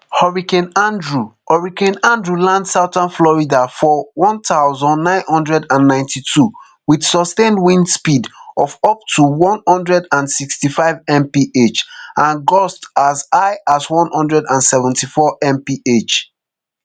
hurricane andrew hurricane andrew land southern florida for one thousand, nine hundred and ninety-two wit sustained wind speeds of up to one hundred and sixty-five mph and gusts as high as one hundred and seventy-fourmph